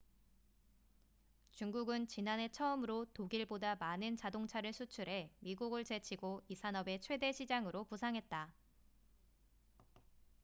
중국은 지난해 처음으로 독일보다 많은 자동차를 수출해 미국을 제치고 이 산업의 최대 시장으로 부상했다